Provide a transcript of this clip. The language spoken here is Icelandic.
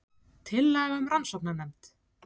Tillaga um rannsóknanefnd